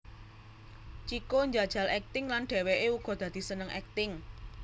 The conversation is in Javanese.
Chico njajal akting lan dhèwèké uga dadi seneng akting